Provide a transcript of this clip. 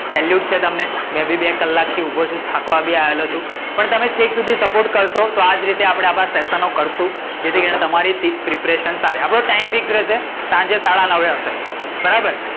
salute છે તમને મે બી બે કલાક થી ઊભો છું. થાકવા બી આવ્યો છું. પણ તમે છેક સુધી support કરશો તો આ જ રીતે આપડે આપડા સેસન કરશું. જેથી કરીને તમારી preparation થાય આપડો ટાઈમ ફિક્સ રહશે સાંજે સાડા નવે હશે. બરાબર?